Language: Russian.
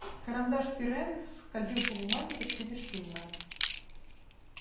карандаш пиренна скользил по бумаге почти бесшумно